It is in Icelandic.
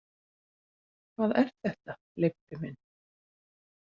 Hvað er þetta, Leibbi minn.